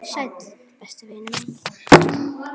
Sæll, besti vinur minn.